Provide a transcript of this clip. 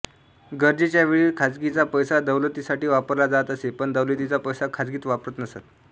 गरजेच्यावेळी खाजगीचा पैसा दौलतीसाठी वापरला जात असे पण दौलतीचा पैसा खाजगीत वापरत नसत